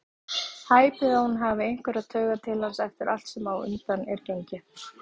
Hæpið að hún hafi einhverjar taugar til hans eftir allt sem á undan er gengið.